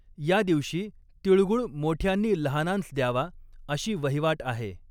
या दिवशी तीळगुळ मोठ्यांनी लहानांस द्यावा अशी वहिवाट आहे.